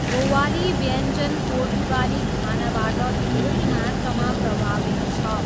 गोवाली व्यञ्जन पोर्तुगाली खानाबाट धेरै मात्रामा प्रभावित छ।